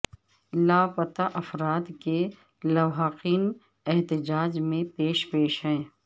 لاپتہ افراد کے لواحقین احتجاج میں پیش پیش ہیں